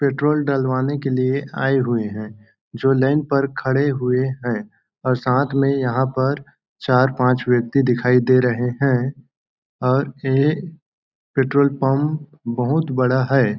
Petrol डलवाने के लिए आए हुए हैं जो लाइन पर खड़े हुए हैं और साथ में यहाँ पर चार-पांच व्यक्ति दिखाई दे रहे हैं और ये पेट्रोल पंप बहुत बड़ा है।